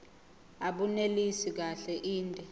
abunelisi kahle inde